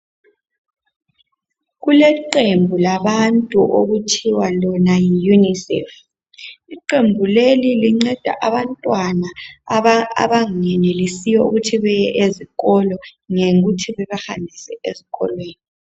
Kulequmbu labantu okuthiwa lona yiUNICEF. Iqembu leli linceda abantwana abangenelisiyo ukuthi beye ezikolo ngokuthi bebahambise ezikolweni.